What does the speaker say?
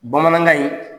Bamanankan in